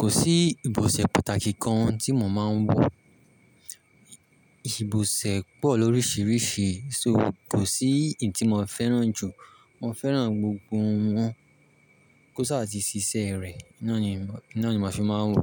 Kò sí ìbòsẹ̀ pàtàkì kan tí mo máa ń wò. Ìbòsẹ̀ pọ̀ lóríṣiríṣi, so kò sí èyí tí mo fẹ́ràn jù. Mo fẹ́ràn gbogbo wọn. Kò sáà ti ṣiṣẹ́ rẹ̀, iná ni màá fi máa ń wò.